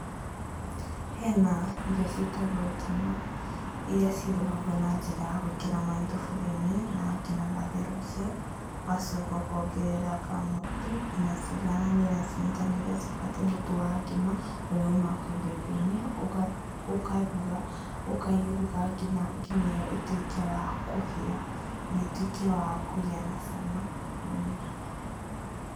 Hena irio ciĩtagwo ngima, iria cirugagwo na njĩra ya gũĩkĩra maaĩ thuburia-inĩ, na nginagia matherũke, ũgacoka ũkongerera kamũtu, nginya ciganĩra ũrĩa cibatiĩ mũtu wa ngima, ũrĩa ũmaga kwĩ mbembe-inĩ, ũkaruga, ũkauruga nginyagia ngima ĩyo ĩtuĩke wa kũhĩa, na ĩtuĩke ya kũgĩa na cama.